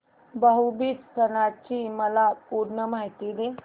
भाऊ बीज सणाची मला पूर्ण माहिती दे